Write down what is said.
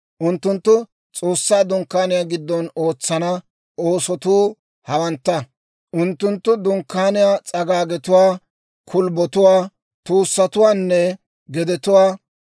«Unttunttu S'oossaa Dunkkaaniyaa giddon ootsana oosotuu hawantta: unttuntta Dunkkaaniyaa s'agaagetuwaa, kulbbotuwaa, tuussatuwaanne gedetuwaa,